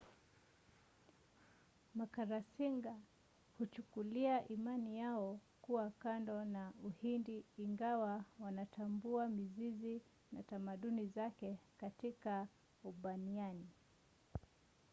makalasinga huchukulia imani yao kuwa kando na uhindu ingawa wanatambua mizizi na tamaduni zake katika ubaniani